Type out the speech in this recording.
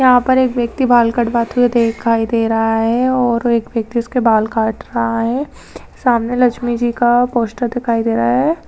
यहाँ पर एक व्यक्ति बाल कटवाते हुए दिखाई दे रहा है और एक व्यक्ति उसके बाल काट रहा है सामने लक्ष्मी जी का पोस्टर दिखाई दे रहा है।